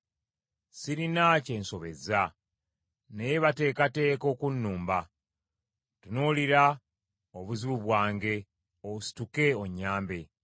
Sirina kye nsobezza, naye bateekateeka okunnumba. Tunuulira obuzibu bwange, osituke, onnyambe.